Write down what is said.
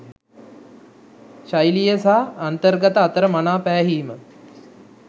ශෛලිය සහ අන්තර්ගතය අතර මනා පෑහීම